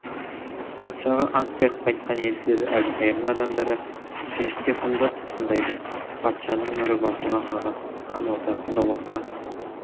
патшаға ант беріп қайтқан елшілерді әбілқайырдың адамдары жіңішкеқұмда тұтқындайды патшаның мөрі басылған қағаз хан ордасында отқа